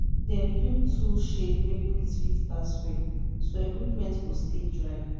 dem build tool shed wey breeze fit pass well so dat equipment go stay dry.